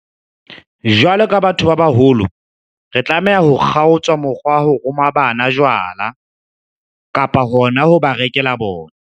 Jwalo ka batho ba baholo, re tlameha ho kgaotsa mokgwa wa ho roma bana jwala, kapa hona ho ba rekela bona.